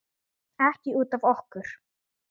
Ekki út af okkur.